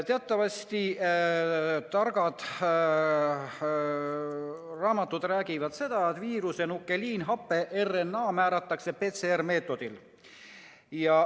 Teatavasti targad raamatud räägivad seda, et viiruse nukleiinhape RNA määratakse PCR-meetodiga.